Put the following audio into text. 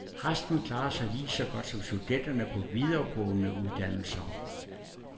Resten klarer sig lige så godt som studenterne på videregående uddannelser.